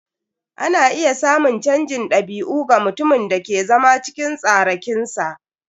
Ana iya samun canjin dabi'u ga mutumin da ke zama cikin tsarakinsa.